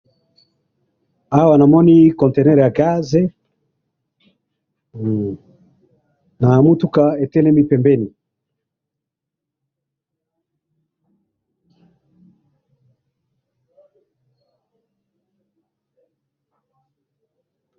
awa namoni bolakisi biso foto oyo eza mibali mibale batelemi balati ba maillot ya sport awa mosusu baza sima nabango.